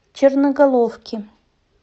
черноголовки